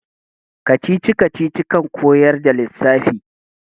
kacici-kacici kan koyar da lissafi